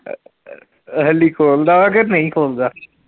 ਹੱਲੀ ਖੋਲ੍ਹਦਾ ਵਾ ਕੇ ਨਹੀਂ ਖੋਲ੍ਹਦਾ?